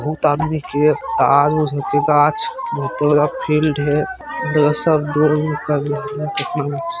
बहुत आदमी के बहुत बड़का फील्ड है सब ।